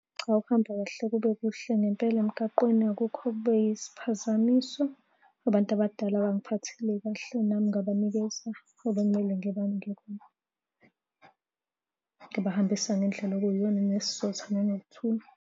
Cha, ukuhamba kahle kube kuhle ngempela emgaqweni, akukho okube yisiphazamiso. Abantu abadala bangiphathile kahle nami ngabanikeza obekumele ngibanike khona, ngabahambisa ngendlela okuyiyona nesizotha nanokuthula.